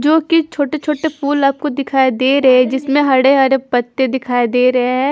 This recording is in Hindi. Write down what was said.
जो कि छोटे छोटे फूल आपको दिखाई दे रहे है जिसमें हडे हरे पत्ते दिखाई दे रहे हैं।